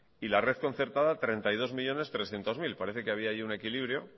y la red concertada treinta y dos millónes trescientos mil parece que había ahí un equilibrio